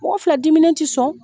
Mɔgɔ fila dimine ti sɔn